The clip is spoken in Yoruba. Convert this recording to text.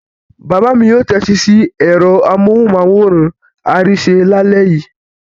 Bàbá mi yóò tẹ́tí sí ẹ̀rọ amóhùmáwòhán Arise lálẹ́ yìí.